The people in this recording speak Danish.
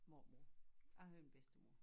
Mormor jeg havde en bedstemor